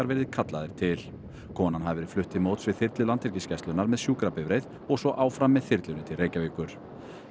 verið kallaðir til konan hafi verið flutt til móts við þyrlu Landhelgisgæslunnar með sjúkrabifreið og svo áfram með þyrlunni til Reykjavíkur